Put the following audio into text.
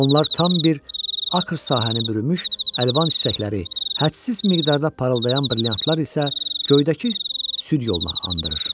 Onlar tam bir akır sahəni bürümüş əlvan çiçəkləri, hədsiz miqdarda parıldayan brilliantlar isə göydəki süd yoluna andırır.